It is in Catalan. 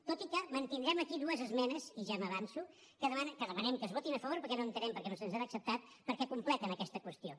tot i que mantindrem aquí dues esmenes i ja m’avanço que demanem que es votin a favor perquè no entenem perquè no se’ns han acceptat perquè completen aquesta qüestió